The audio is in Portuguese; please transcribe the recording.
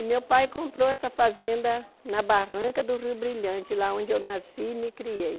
E meu pai comprou essa fazenda na Barranca do Rio Brilhante, lá onde eu nasci e me criei.